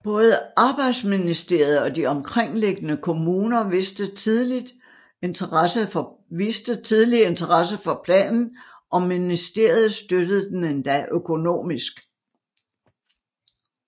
Både arbejdsministeriet og de omkringliggende kommuner viste tidligt interesse for planen og ministeriet støttede den endda økonomisk